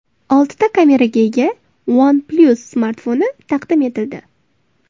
Oltita kameraga ega OnePlus smartfoni taqdim etildi.